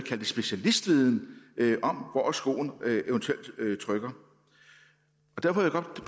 specialistviden hvor skoen eventuelt trykker derfor